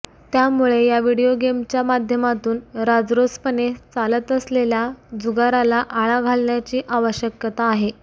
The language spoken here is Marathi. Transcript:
त्यामुळे या व्हिडीओ गेमच्या माध्यमातून राजरोसपणे चालत असलेल्या जुगाराला आळा घालण्याची आवश्यकता आहे